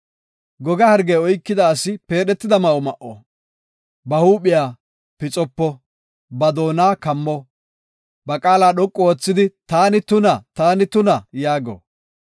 “Goga hargey oykida asi peedhetida ma7o ma7o; ba huuphiya pixopo; ba doona kammo; ba qaala dhoqu oothidi, ‘Taani tuna, taani tuna!’ yaago.